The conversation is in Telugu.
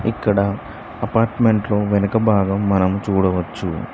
ఇక్కడ అపార్ట్మెంట్ లో వెనక భాగం మనం చూడవచ్చు.